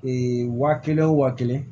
wa kelen o waa kelen